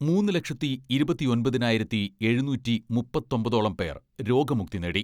മൂന്ന് ലക്ഷത്തി ഇരുപത്തിയൊമ്പതിനായിരത്തി എഴുനൂറ്റി മുപ്പത്തൊമ്പതോളം പേർ രോഗമുക്തി നേടി.